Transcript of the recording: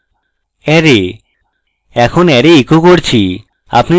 array এখন array echo করছি